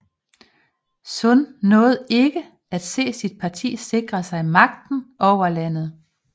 Sun nåede ikke at se sit parti sikre sig magten over landet